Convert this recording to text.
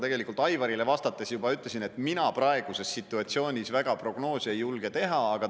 Tõesti, nagu ma Aivarile vastates juba ütlesin, mina praeguses situatsioonis prognoose teha väga ei julge.